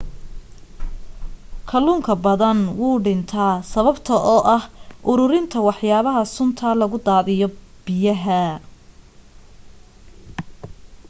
kaluunka badan wuuw dhinta sababta oo ah uruurinta waxyaba sunta lagu daadiyo biyaha